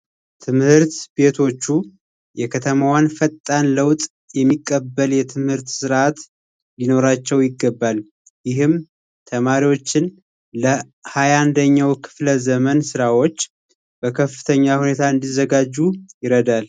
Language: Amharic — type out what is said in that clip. ትምህርት ቤቶቹ የከተማዋን ፈጣን እድገት የሚቀበል ፈጣን የትምህርት ስርዓት ሊኖራቸው ይገባል። ይህም ተማሪዎችን ለ ሀያ አንደኛው ክፍለ ዘመን ስራዎች በከፍተኛ ሁኔታ እንዲዘጋጁ ይረዳል።